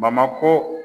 Bamakɔ